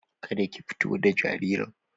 Ka da ki fito da jaririn!